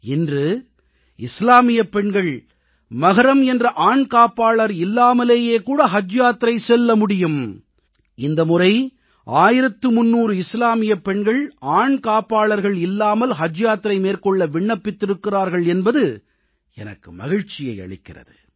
இன்று இஸ்லாமியப் பெண்கள் மஹ்ரம் என்ற ஆண் காப்பாளர் இல்லாமலேயே கூட ஹஜ் யாத்திரை செல்ல முடியும் இந்த முறை 1300 இஸ்லாமியப் பெண்கள் ஆண் காப்பாளர்கள் இல்லாமல் ஹஜ் யாத்திரை மேற்கொள்ள விண்ணப்பித்திருக்கிறார்கள் என்பது எனக்கு மகிழ்ச்சியை அளிக்கிறது